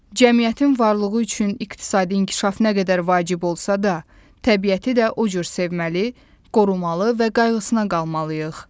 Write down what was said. Cəmiyyətin varlığı üçün iqtisadi inkişaf nə qədər vacib olsa da, təbiəti də o cür sevməli, qorumalı və qayğısına qalmalıyıq.